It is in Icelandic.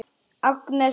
Agnes og